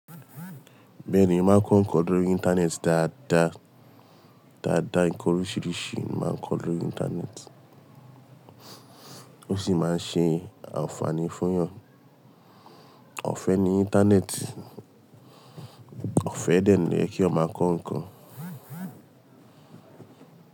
Bẹ́ẹ̀ ni, máa ń kọ́ ǹkan lórí Íńtánẹ́ẹ̀tì. Daadaa daadaa ǹkan oríṣiríṣi máa ń kọ lórí Íńtánẹ́ẹ̀tì ó sì máa ń ṣe ànfààní fún èèyàn. Ọ̀fẹ́ ni Íńtánẹ́ẹ̀tì, ọ̀fẹ́ dẹ́ẹ̀rẹ̀ kí ó máa kọ ǹkan.